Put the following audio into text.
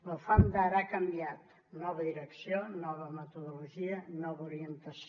la ufam d’ara ha canviat nova direcció nova metodologia nova orientació